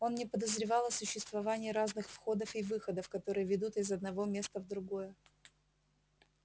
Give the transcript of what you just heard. он не подозревал о существовании разных входов и выходов которые ведут из одного места в другое